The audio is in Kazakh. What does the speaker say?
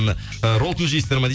роллтон жейсіздер ма